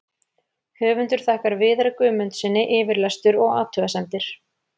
Höfundur þakkar Viðari Guðmundssyni yfirlestur og athugasemdir.